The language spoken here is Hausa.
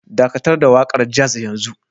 Dakatar da waƙar jazz yanzu